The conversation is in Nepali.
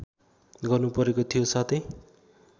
गर्नुपरेको थियो साथै